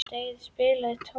Daðey, spilaðu tónlist.